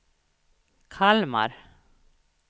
Kalmar